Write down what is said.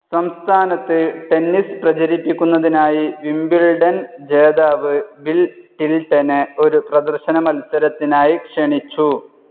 സംസ്ഥാനത്ത് ടെന്നിസ്‌ പ്രചരിപ്പിക്കുന്നതിനായി വിംബിൾഡൺ ജേതാവ് ബിൽ ടിൽടനെ ഒരു പ്രദർശന മത്സരത്തിനായി ക്ഷണിച്ചു.